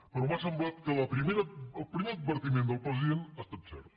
però m’ha semblat que el primer advertiment del president ha estat cert